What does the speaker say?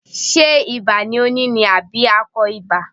Ṣé ibà ni ó ní ni àbí akọ ibà.